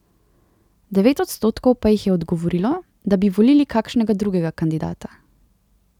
Devet odstotkov pa jih je odgovorilo, da bi volili kakšnega drugega kandidata.